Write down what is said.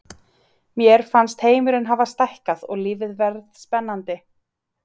Mér fannst heimurinn hafa stækkað og lífið varð spennandi.